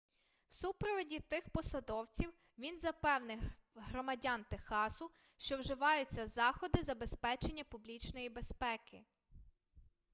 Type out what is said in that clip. в супроводі тих посадовців він запевнив громадян техасу що вживаються заходи забезпечення публічної безпеки